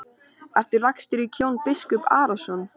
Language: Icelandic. Ertu lagstur í kör Jón biskup Arason?